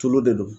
Tulu de don